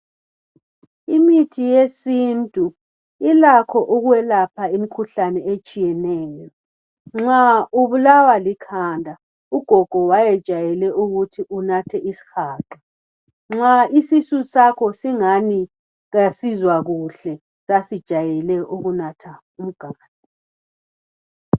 Imithi yesintu ilakho ukwelapha imikhuhlane etshiyeneyo nxa ubulawa likhanda ugogo wayejayele ukuthi unathe isihaqa nxa isisu sakhe singani kasizwa kuhle kasijayele ukunatha umganu